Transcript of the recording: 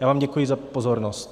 Já vám děkuji za pozornost.